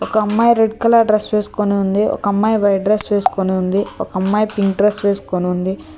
ఒక అమ్మాయి red colour dress వేసుకుని ఉంది ఒక అమ్మాయి వైట్ డ్రెస్ వేసుకొని ఉంది ఒక అమ్మాయి పింక్ డ్రెస్ వేసుకొని ఉంది.